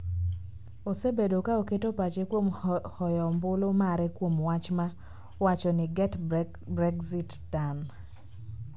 osebedo ka oketo pache kuom hoyo ombulu mare kuom wach ma wacho ni 'Get Brexit Done',